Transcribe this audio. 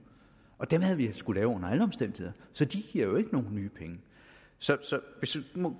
og dem havde vi skullet lave under alle omstændigheder så de giver jo ikke nogen nye penge så